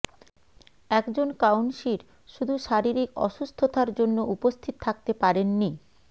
একজন কাউন্সির শুধু শারীরিক অসুস্থতার জন্য উপস্থিত থাকতে পারেননি